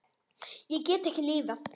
Ég get ekki lifað.